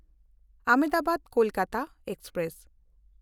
ᱟᱦᱚᱢᱫᱟᱵᱟᱫ–ᱠᱳᱞᱠᱟᱛᱟ express